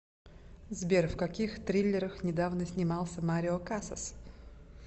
сбер в каких триллерах недавно снимался марио касас